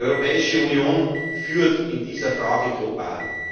Die Europäische Union führt in dieser Frage global.